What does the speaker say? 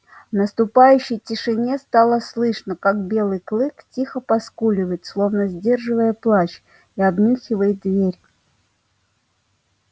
в наступающей тишине стало слышно как белый клык тихо поскуливает словно сдерживая плач и обнюхивает дверь